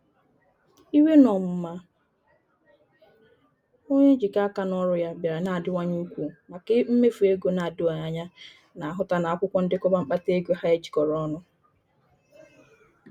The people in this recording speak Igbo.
Iwe na ọnụma onye njikọ aka n'ọrụ ya bịara na-adiwanye ukwuu maka mmefu ego na-edoghị anya na-ahụta n'akwụkwọ ndekọba mkpata ego ha ejikọrọ ọnụ.